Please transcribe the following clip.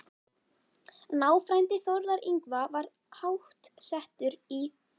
Náfrændi Þórðar Yngva var háttsettur í